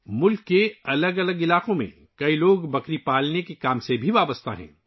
ملک کے مختلف علاقوں میں بہت سے لوگ بکری پالنے سے بھی وابستہ ہیں